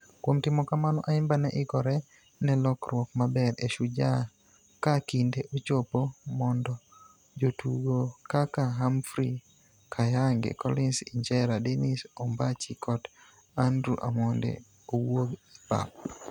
Kuom timo kamano, Ayimba ne ikore ne lokruok maber e Shujaa ka kinde ochopo mondo jotugo kaka Humphrey Khayange, Collins Injera, Dennis Ombachi kod Andrew Amonde owuog e pap.